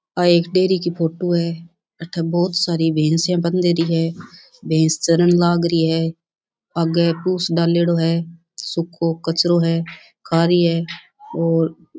आ एक डेरी की फोटो है बहुत सारे भैंसे बंध रही है भैंस चरन लागरी है आगे पुश डालरी है सुखो कचरो है कारी है और --